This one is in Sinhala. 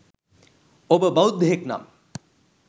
ඔබ බෞද්ධයෙක් නම්